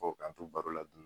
O k'a te baro la